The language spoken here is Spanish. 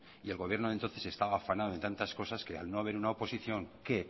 y el gobierno de entonces estaba afanado en tantas cosas que al no haber una oposición que